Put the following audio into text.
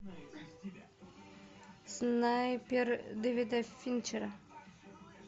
снайпер дэвида финчера